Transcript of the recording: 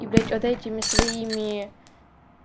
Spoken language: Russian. и блядь вот этими своими